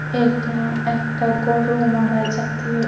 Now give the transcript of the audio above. এটা একটা গরু মারা জাতীয়--